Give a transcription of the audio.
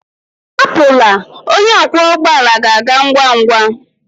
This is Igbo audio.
Ahapụla, onye ọkwọ ụgbọ ala ga-aga ngwa ngwa.